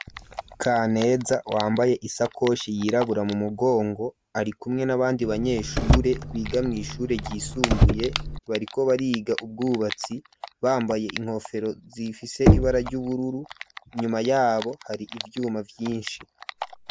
Kaneza wambaye isakoshi yirabura mu mugongo ari kumwe n'abandi banyeshure biga mw'shure ryisumbuye bariko bariga ubwubatsi bambaye inkofero zifise ibara ry'ubururu, inyuma yabo hari ivyuma vyishi.